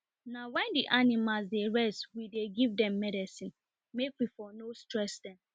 na wen the animals dey rest we dey give dem medicine made we for no stress dem